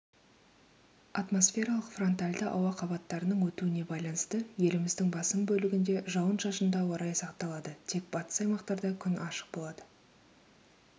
атмосфералық фронтальді ауа қабаттарының өтуіне байланысты еліміздің басым бөлігінде жауын-шашынды ауа райы сақталады тек батыс аймақтарда күн ашық болады